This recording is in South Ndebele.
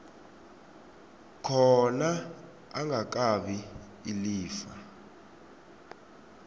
khona angakabi ilifa